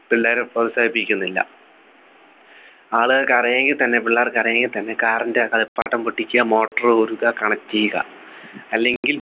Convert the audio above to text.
പിള്ളേരെ പ്രോത്സാഹിപ്പിക്കുന്നില്ല ആള്കൾക്കറിയെങ്കിൽ തന്നെ പിള്ളേർക്ക് അറിയൂഎങ്കി തന്നെ car ൻ്റെ കളിപ്പാട്ടം പൊട്ടിക്കാ motor കൾ ഊരുക connect ചെയ്യുക അല്ലെങ്കിൽ